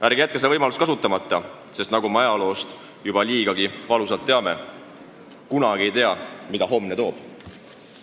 Ärge jätke seda võimalust kasutamata, sest nagu me ajaloost juba liigagi valusalt teame, kunagi ei tea, mida homne toob.